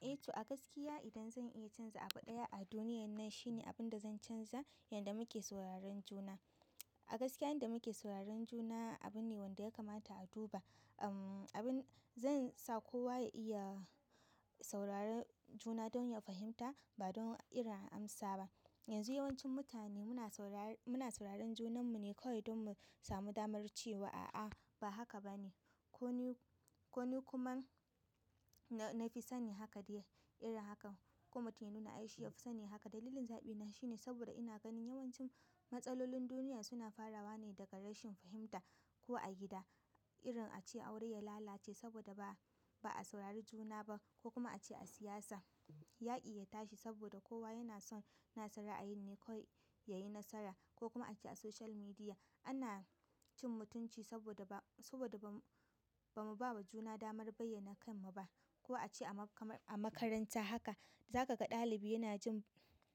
Eh to a gaskiya idan zan iya canza abu ɗaya a duniyan nan shine abin da zan canza, yanda muke sauraron juna. A gaskiya yanda muke sauraron juna abune wanda ya kamata a duba. Umm, abin zan sa kowa ya iya sauraron juna don ya fahimta, ba don irin amsa ba. Yanzu yawancin mutane muna saurara, muna sauraron junanmu ne kawai don mu samu damar cewa a'a ba haka ba ne. Ko ni, ko ni kuma na fi sani haka dai irin hakan. Ko mutum ya nuna ai shi ya fi sani haka. Dalilin zaɓi na shine saboda ina ganin yawancin matsalolin duniya suna farawa ne daga rashin fahimta ko a gida, irin ace aure ya lalace saboda ba, ba a saurari juna ba ko kuma a ce a siyasa yaƙi ya tashi saboda kowa yana son nasa ra'ayi ne kawai yayi nasara ko kuma a ce a social media ana cin mutunci saboda ba, saboda ba, ba mu ba wa juna damar bayyana kanmu ba, ko a ce a makaranta haka. Za ka ga ɗalibi yana jin,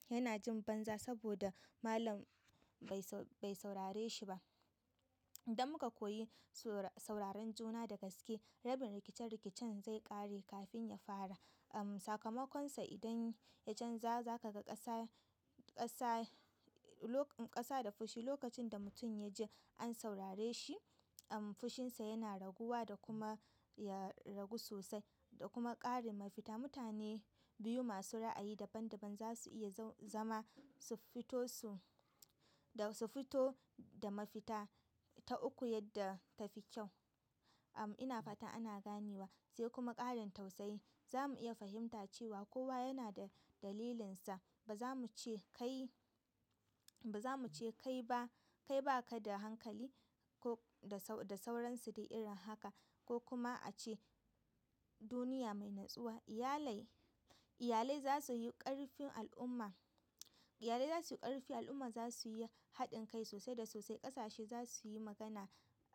yana jin banza saboda malam bai sau, bai saurare shi ba. Idan muka koyi sauraron juna da gaske, rabin rikice-rikicen zai ƙare kafin ya fara. Umm, sakamakonsa idan ya canza, za ka ga ƙasa, ƙasa, ƙasa da fushi lokacin da mutum ya ji an saurare shi, umm, fushinsa yana raguwa da kuma ya ragu sosai da kuma ƙarin mafita. Mutane biyu masu ra'ayi daban-daban za su iya za-zama su fito su, da su fito da mafita ta uku yadda ta fi kyau. Umm, ina fata ana ganewa. Sai kuma ƙarin tausayi. Za mu iya fahimta cewa kowa yana da dalilinsa. Ba za mu ce kai, ba za mu ce kai ba, kai ba ka da hankali ko da, da sauransu dai irin haka ko kuma a ce duniya mai natsuwa. Iyalai, iyalai za su yi ƙarfin al'umma. Iyalai za su yi ƙarfin al'umma, za su yi haɗin kai sosai da sosai. Ƙasashe za su yi magana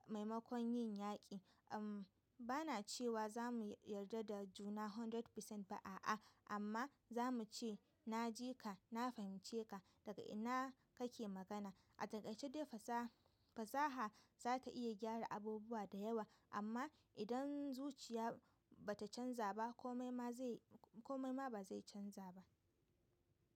maimakon yin yaƙi. Umm, bana cewa za mu yarda da juna ɗari cikin ɗari ba, a'a, amma za mu ce na ji ka, na fahimce ka daga ina kake magana. A takaice dai fasaha, fasaha za ta iya gyara abubuwa da yawa amma idan zuciya ba ta canza ba komai ma zai, komai ma ba zai canza ba.